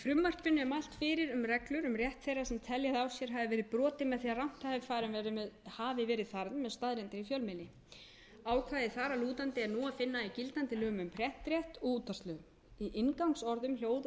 telja að á sér hafi verið brotið með því rangt hafi verið farið með staðreyndir í fjölmiðli ákvæði þar að lútandi er nú að finna í gildandi lögum um prentrétt og útvarpslögum í inngangsorðum hljóð og